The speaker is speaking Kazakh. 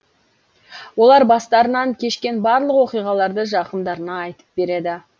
олар бастарынан кешкен барлық оқиғаларды жақындарына айтып береді